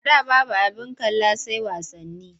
A da babu abin kalli sai wasanni.